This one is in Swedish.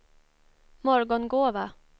Morgongåva